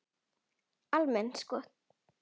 Almennt sko?